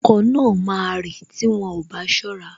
Okọ̀ náà máa rì tí wọn ò bá ṣọ́ra